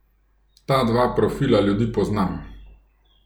Ta dva profila ljudi poznam.